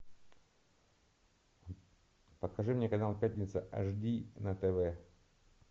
покажи мне канал пятница аш ди на тв